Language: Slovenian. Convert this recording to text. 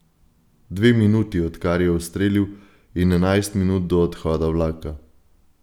Dve minuti, odkar je ustrelil, in enajst minut do odhoda vlaka.